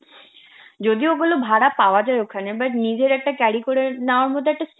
যদিও ওগুলো ভাড়া পাওয়া যায় ওখানে but নিজের একটা carry করে নেওয়ার মধ্যে একটা